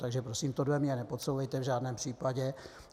Takže prosím, tohle mně nepodsouvejte v žádném případě.